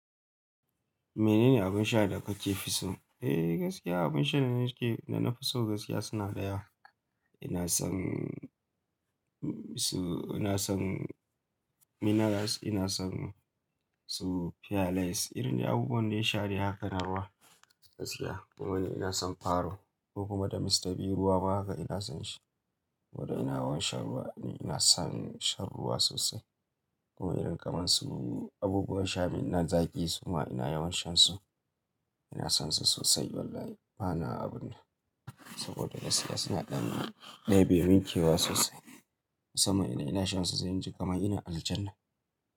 Menene abin sha da kake fi so? Eh gaskiya abin sha da nake, da na fi so gaskiya suna ɗaya. Ina son su, ina son minerals, ina son su pearlies. Irin dai abubuwan da ya sha haka na ruwa gaskiya. Wani ina son paro ko kuma da mistabi ruwa ma haka ina son shi. Saboda ina wanshar ruwa ne, ina son shan ruwa sosai. Kuma irin kaman su abubuwan sha na zaƙi su ma ina yawan shan su. Ina son su sosai wallahi bana abun nan. Saboda gaskiya suna ɗan dai bai min kewan sosai. Musamman idan ina shan su sai inji kamar ina aljannah.